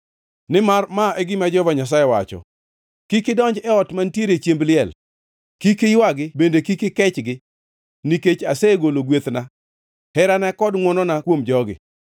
Nimar ma e gima Jehova Nyasaye wacho: “Kik idonj e ot mantiere chiemb liel; kik iywagi bende kik ikechgi, nikech asegolo gwethna, herana kod ngʼwonona kuom jogi.